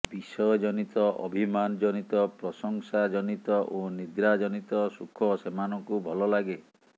ବିଷୟ ଜନିତ ଅଭିମାନ ଜନିତ ପ୍ରଶଂସା ଜନିତ ଓ ନିଦ୍ରା ଜନିତ ସୁଖ ସେମାନଙ୍କୁ ଭଲ ଲାଗେ